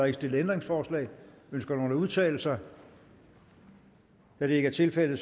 ikke stillet ændringsforslag ønsker nogen at udtale sig da det ikke er tilfældet